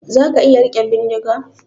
Zaka iya rike bindiga?